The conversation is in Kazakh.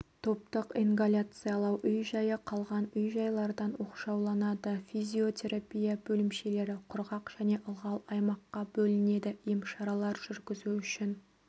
топтық ингаляциялау үй-жайы қалған үй-жайлардан оқшауланады физиотерапия бөлімшелері құрғақ және ылғал аймаққа бөлінеді емшаралар жүргізу үшін